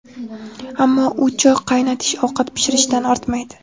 Ammo u choy qaynatish, ovqat pishirishdan ortmaydi.